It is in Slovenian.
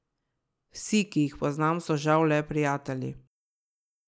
Vsi, ki jih poznam, so žal le prijatelji.